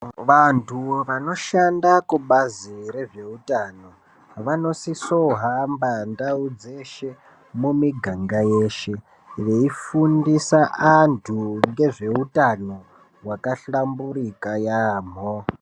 Vanthu vanoshanda kubazi rezveutano, vanosise kuhamba ndau dzeshe, mumiganga yeshe, veifundisa anthu ngezveutano hwakahlamburika yaampho.